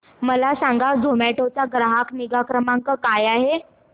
मला सांगा झोमॅटो चा ग्राहक निगा क्रमांक काय आहे